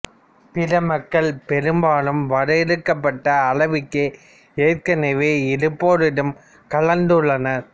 பிற மக்கள் பெரும்பாலும் வரையறுக்கப்பட்ட அளவுக்கே ஏற்கெனவே இருப்போருடன் கலந்துள்ளனர்